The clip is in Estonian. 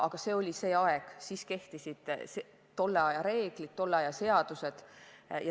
Aga see oli aeg, kui kehtisid tolle aja reeglid, tolle aja seadused.